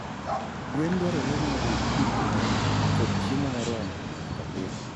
Gwen dwarore ni oyud pi maler kod chiemo moromo pile ka pile.